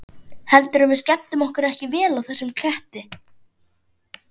Heldurðu að við skemmtum okkur ekki vel á þessum ketti?